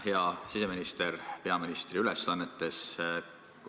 Hea siseminister peaministri ülesannetes!